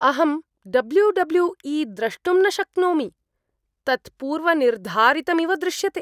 अहं W W E द्रष्टुं न शक्नोमि। तत् पूर्वनिर्धारितमिव दृश्यते।